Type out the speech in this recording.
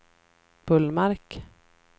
Bullmark